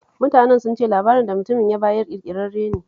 Mutanen sun ce labarin da mutumin ya bayar ƙirkirarren labari ne